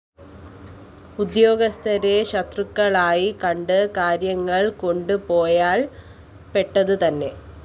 ഉദ്യോഗസ്ഥരെ ശത്രുക്കളായി കണ്ട് കാര്യങ്ങള്‍ കൊണ്ടുപോയാല്‍ പെട്ടതുതന്നെ